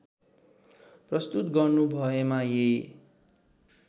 प्रस्तुत गर्नुभएमा यी